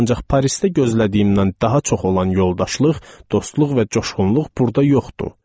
Ancaq Parisdə gözlədiyimdən daha çox olan yoldaşlıq, dostluq və coşğunluq burda yoxdur.